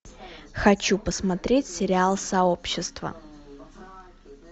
хочу посмотреть сериал сообщество